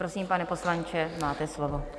Prosím, pane poslanče, máte slovo.